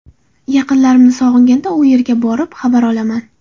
Yaqinlarimni sog‘inganda u yerga borib, xabar olaman.